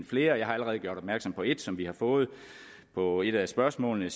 flere jeg har allerede gjort opmærksom på et som vi har fået på et af spørgsmålene